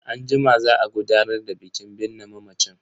Anjima za a gudanar da bikin binne mamacin.